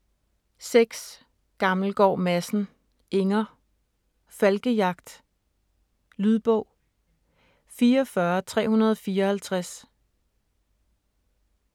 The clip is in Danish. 6. Gammelgaard Madsen, Inger: Falkejagt Lydbog 44354